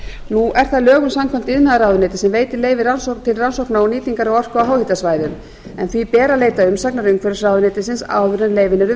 nú er það lögum samkvæmt iðnaðarráðuneytið sem veitir leyfi til rannsóknar og nýtingar orku á háhitasvæðum en því ber að leita umsagnar umhverfisráðuneytisins áður en leyfin eru